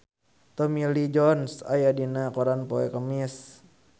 Tommy Lee Jones aya dina koran poe Kemis